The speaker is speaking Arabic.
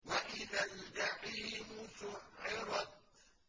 وَإِذَا الْجَحِيمُ سُعِّرَتْ